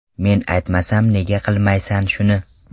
Men aytmasam nega qilmaysan shuni?